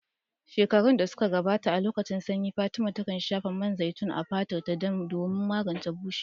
Shekaru da suka gabata, a lokacin sanyi, Fatima takan shafa man zaitun a fatarta don magance bushewa.